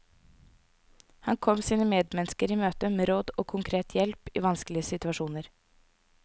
Han kom sine medmennesker i møte med råd og konkret hjelp i vanskelige situasjoner.